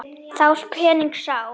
Þá pening sá.